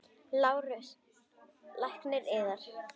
LÁRUS: Lækninn yðar?